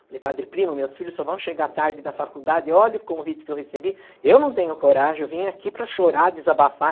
Falei, padre Primo, meus filhos só vão chegar tarde da faculdade, olha o convite que eu recebi, eu não tenho coragem, eu vim aqui para chorar, desabafar.